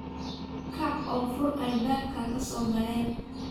kaac oo kafur albabka hasogalane